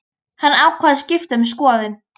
Hann ákvað að skipta um skoðun.